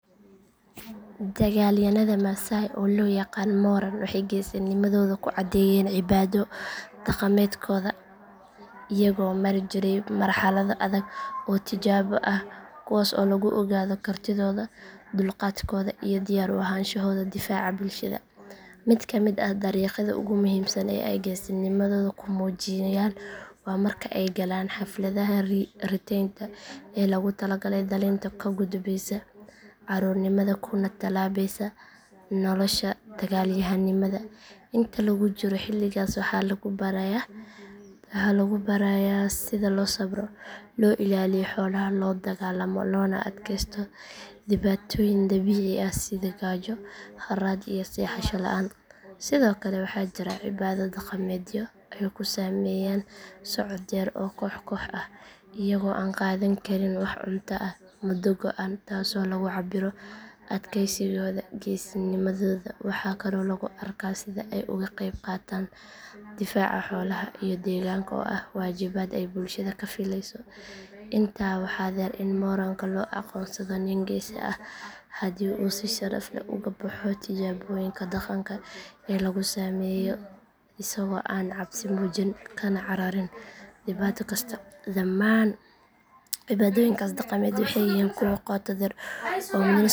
Dagaalyahanada maasai oo loo yaqaan moran waxay geesinimadooda ku caddeeyaan cibaado dhaqameedkooda iyagoo mari jiray marxalado adag oo tijaabo ah kuwaas oo lagu ogaado kartidooda, dulqaadkooda iyo diyaar u ahaanshahooda difaaca bulshada. Mid ka mid ah dariiqyada ugu muhiimsan ee ay geesinimadooda ku muujiyaan waa marka ay galaan xafladaha riteynta ee loogu talagalay dhalinta ka gudbaysa carruurnimada kuna tallaabeysa nolosha dagaalyahannimada. Inta lagu jiro xilligaas waxaa lagu barayaa sida loo sabro, loo ilaaliyo xoolaha, loo dagaallamo loona adkeysto dhibaatooyin dabiici ah sida gaajo, harraad iyo seexasho la’aan. Sidoo kale waxaa jira cibaado dhaqameedyo ay ku sameeyaan socod dheer oo koox koox ah iyagoo aan qaadan karin wax cunto ah muddo go’an taasoo lagu cabbiro adkaysigooda. Geesinimadooda waxaa kaloo lagu arkaa sida ay uga qeyb qaataan difaaca xoolaha iyo deegaanka oo ah waajibaad ay bulshada ka filayso. Intaa waxaa dheer in moranka loo aqoonsado nin geesi ah haddii uu si sharaf leh uga baxo tijaabooyinka dhaqanka ee lagu sameeyo, isagoo aan cabsi muujin kana cararin dhibaato kasta. Dhammaan cibaadooyinkaas dhaqameed waxay yihiin kuwo qotodheer oo muujinaya isku kalsonanta.